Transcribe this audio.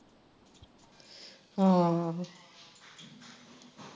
ਹਮ